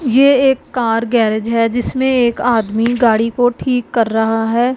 ये एक car garage है जिसमें एक आदमी की गाड़ी को ठीक कर रहा है।